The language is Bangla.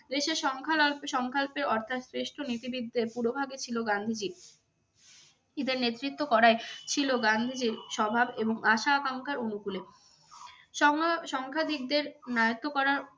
দেশের সংকল্পে অর্থাৎ শ্রেষ্ঠ নীতিবিদদের পূরোভাগে ছিল গান্ধীজী। ইদের নেতৃত্ব করাই ছিল গান্ধীজীর স্বভাব এবং আশা-আকাঙ্ক্ষার অনুকূলে। সংখ্যা দিগদের নায়ত্ত করা